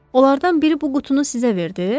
Onlardan biri bu qutunu sizə verdi?